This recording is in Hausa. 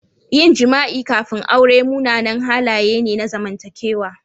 Yin jima'i kafin aure munanan halaye ne na zamantakewa